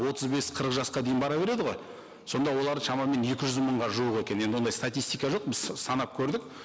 отыз бес қырық жасқа дейін бара береді ғой сонда олар шамамен екі жүз мыңға жуық екен енді ондай статистика жоқ біз санап көрдік